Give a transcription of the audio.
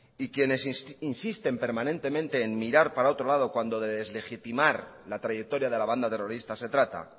y quienes insisten permanentemente en mirar para otro lado cuando deslegitimar la trayectoria de la banda terrorista se trata